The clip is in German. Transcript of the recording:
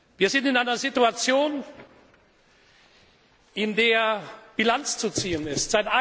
Wir sind in einer Situation, in der Bilanz zu ziehen ist.